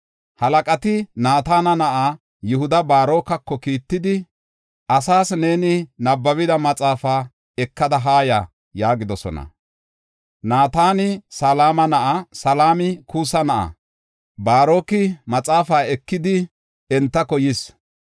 Halaqati Naatana na7aa Yihuda Baarokako kiittidi, “Asaas neeni nabbabida maxaafaa ekada haa ya” yaagidosona. (Naatani Salama na7a; Salami Kuusa na7a.) Baaroki maxaafaa ekidi, entako yis.